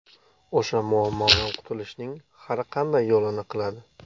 O‘sha muammodan qutulishning har qanday yo‘lini qiladi.